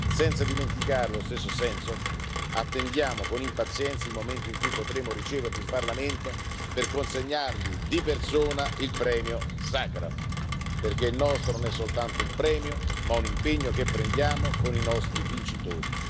Senza dimenticare lo stesso Sentsov attendiamo con impazienza il momento in cui potremo riceverlo in Parlamento per consegnargli, di persona, il premio Sacharov, perché il nostro non è soltanto un premio ma un impegno che prendiamo con i nostri vincitori.